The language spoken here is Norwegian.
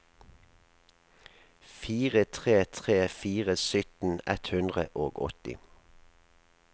fire tre tre fire sytten ett hundre og åtti